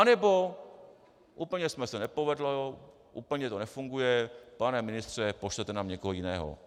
Anebo úplně se to nepovedlo, úplně to nefunguje, pane ministře, pošlete nám někoho jiného.